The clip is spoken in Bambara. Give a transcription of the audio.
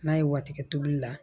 N'a ye wa tigɛ tulu la